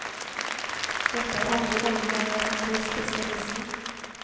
Dette er andre gangen jeg er her hos spesialisten.